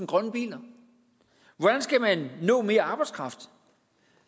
grønne biler hvordan skal man nå mere arbejdskraft